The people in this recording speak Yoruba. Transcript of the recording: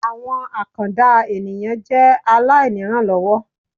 Àwọn àkàndá ènìyàn jẹ́ aláìnírànlọ́wọ́